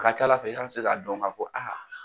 Ka kɛ ala fɛ i k'an ka se ka dɔn kan ko aa.